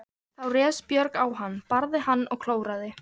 Þá réðst Björg á hann, barði hann og klóraði.